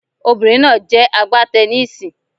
Obìnrin náà jẹ́ a gbá teniísì.